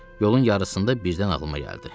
Yolun yarısında birdən ağlıma gəldi.